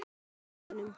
Er þetta rétt hjá honum?